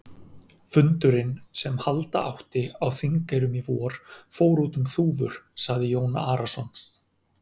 Fundurinn sem halda átti á Þingeyrum í vor, fór út um þúfur, sagði Jón Arason.